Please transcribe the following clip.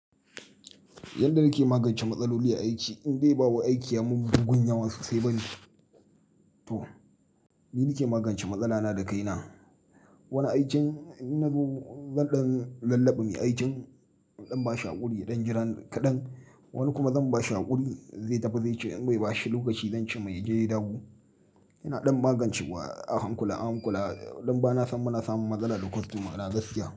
Yanda nake magance matsaloli aiki, in dai ba aiki ya mun bugun yawa sosai bane to ni nake magance matsala na da kaina. Wani aikin inna zo zan ɗan lallaɓa me aikin zan ba shi haƙuri ya ɗan jiran kaɗan, wani kuma zan ba shi haƙuri zai tafi zai ce imbashi, lokaci zance mai ya je ya dawo. Ina ɗan magance wa ahankula, ahankula ɗan bana san muna samun matsala da kostoma na gaskiya.